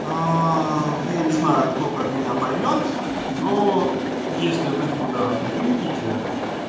я не знаю кто как меня поймёт но если вы туда выйдете